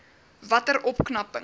watter opknapping